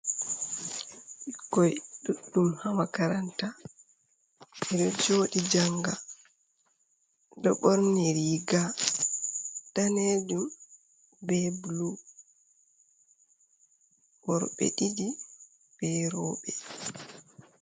Bikoi ɗuɗɗum ha makaranta ɗo joɗi janga ɗo ɓorni riga danejum be blu wor ɓe ɗiɗi be roɓe